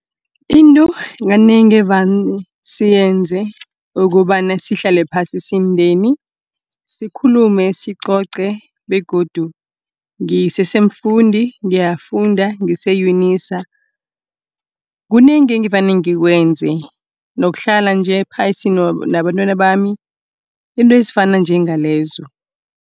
Into kanengi evane siyenze kobana sihlale phasi simndeni, sikhulume, sicoce, begodu ngisesemfundi, ngiyafunda ngise-UNISA. Kunengi evane ngikwenze, nokuhlala nje phasi nabantwana bami, izinto ezifana njengalezo.